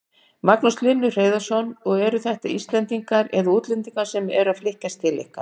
Magnús Hlynur Hreiðarsson: Og eru þetta Íslendingar eða útlendingar sem eru að flytja til ykkar?